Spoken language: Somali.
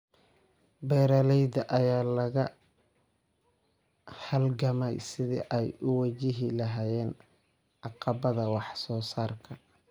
Beeralayda ayaa la halgamaya sidii ay u wajihi lahaayeen caqabadaha wax soo saarka.